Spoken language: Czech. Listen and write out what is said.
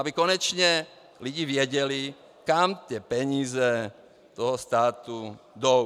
Aby konečně lidi věděli, kam ty peníze toho státu jdou.